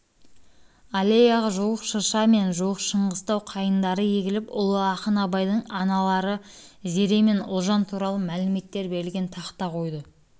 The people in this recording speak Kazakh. аллеяға жуық шырша мен жуық шыңғыстау қайыңдары егіліп ұлы ақын абайдың аналары зере мен ұлжан туралы мәліметтер берілген тақта қойылды